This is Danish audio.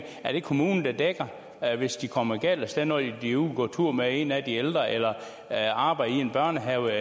er det kommunen der dækker hvis de kommer galt af sted når de er ude at gå tur med en af de ældre eller arbejder i en børnehave